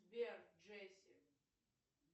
сбер джесси